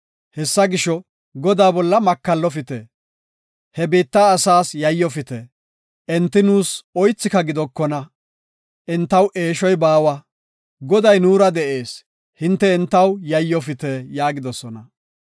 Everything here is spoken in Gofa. Hessa gisho, Godaa bolla makallofite. He biitta asaas yayyofite; enti nuus oythika gidokona. Entaw eeshoy baawa; Goday nuura de7ees; hinte entaw yayyofite” yaagidosona.